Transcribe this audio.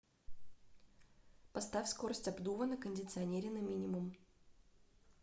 поставь скорость обдува на кондиционере на минимум